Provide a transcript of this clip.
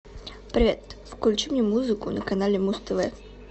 привет включи мне музыку на канале муз тв